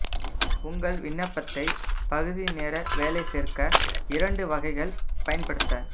உங்கள் விண்ணப்பத்தை பகுதி நேர வேலை சேர்க்க இரண்டு வகைகள் பயன்படுத்த